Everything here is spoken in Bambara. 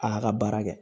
A y'a ka baara kɛ